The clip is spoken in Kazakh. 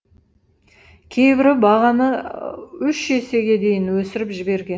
кейбірі бағаны үш есеге дейін өсіріп жіберген